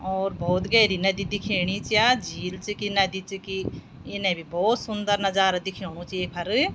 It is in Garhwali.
और भोत गहरी नदी दिखेणी च या झील च की नदी च की इने भी भोत सुंदर नजारा दिखेणु च येफर।